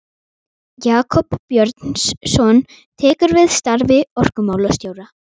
Jakob Björnsson tekur við starfi orkumálastjóra.